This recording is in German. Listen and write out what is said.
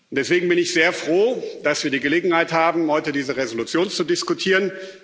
Deswegen bin ich sehr froh, dass wir die Gelegenheit haben, heute diese Entschließung zu diskutieren.